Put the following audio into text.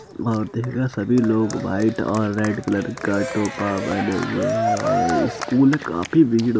बहोत देगा। सभी लोग वाइट और रेड कलर का टोपा पहने हुए हैं और ए स्कूल काफी भीड़ --